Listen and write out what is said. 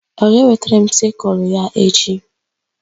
Ọ ga-ewetara m sịkụlụ ya echi?